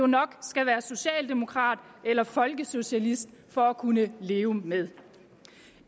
nok skal være socialdemokrat eller folkesocialist for at kunne leve med